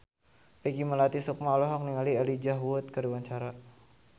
Peggy Melati Sukma olohok ningali Elijah Wood keur diwawancara